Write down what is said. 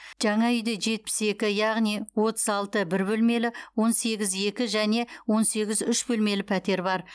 жаңа үйде жетпіс екі яғни отыз алты бір бөлмелі он сегіз екі және он сегіз үш бөлмелі пәтер бар